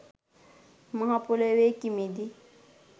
මහ පොළොවේ කිමිදී